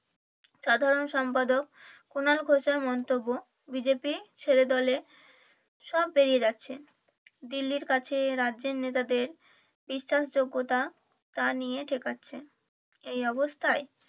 সাধারণ সম্পাধক কুনাল ঘোষের মন্তব্য বিজেপি ছেড়ে দলে সব বেরিয়ে যাচ্ছে দিল্লির কাছে রাজ্যের নেতাদের বিশ্বাস যোগ্যতা তা নিয়ে ঠেকাচ্ছে এই অবস্থায়